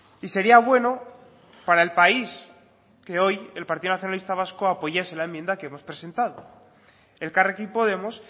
y sería bueno para el país que hoy el partido nacionalista vasco apoyase la enmienda que hemos presentado elkarrekin podemos